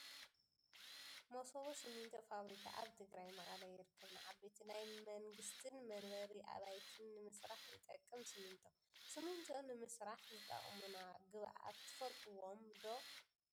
መሰቦ ሲሚንቶ ፋብሪካ ኣበ ትግራይ መቀለ ይርከብ ። ንዓበይቲ ናይ መንግስትን መንበሪ ኣባይትን ንምስራሕ ይጠቅም ሲሚንቶ ። ሲሚንቶ ንምስራዕ ዝጠቅሙና ግባኣት ትፍልጥዎም ዶ ?